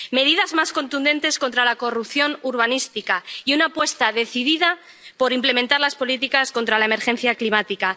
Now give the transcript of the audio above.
medidas más contundentes contra la corrupción urbanística y una apuesta decidida por implementar las políticas contra la emergencia climática.